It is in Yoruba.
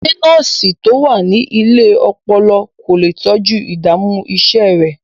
Ṣé nọ́ọ̀sì tó wà ní ilé ọpọlọ kò lè kojú ìdààmú iṣẹ́ rẹ̀?